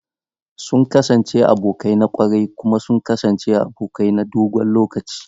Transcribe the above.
Sun kasance abokai na ƙwarai kuma sun kasance abokai na dogon lokaci.